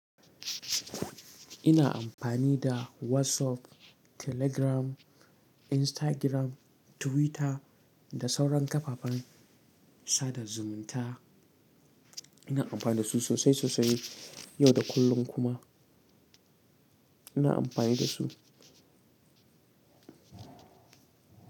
Ina amfani da WhatsApp, Telegram, Instagram, Twitter da sauran kafafen sada zumunta. Ina amfani da su sosai sosai yau da kullum kuma ina amfani da su.